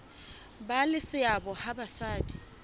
ba le seabo ha basadi